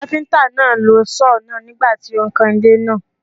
Kápẹ́ńtà náà lo Sọ́ọ̀ náà nígbà tí ó ń kan ilé náà.